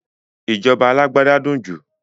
Ìjọba alágbádá ló dùn jù